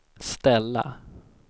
ställa